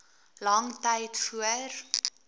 lang tyd voor